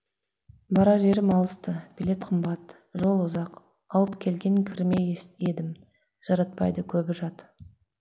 барар жерім алыс ты билет қымбат жол ұзақ ауып келген кірмес едім жаратпайды көбі жат